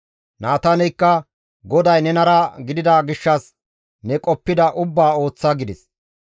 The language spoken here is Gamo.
Naataaneykka, «GODAY nenara gidida gishshas ne qoppida ubbaa ooththa» gides.